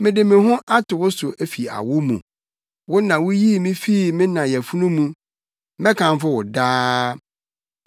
Mede me ho ato wo so fi awo mu; wo na wuyii me fii me na yafunu mu. Mɛkamfo wo daa.